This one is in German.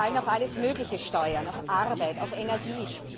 Wir zahlen auf alles Mögliche Steuern auf Arbeit, auf Energie.